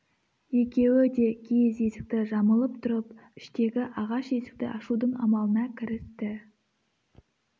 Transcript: екеуі де киіз есікті жамылып тұрып іштегі ағаш есікті ашудың амалына кірісті